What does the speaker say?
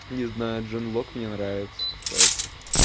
не знаю джонлок мне нравится кстати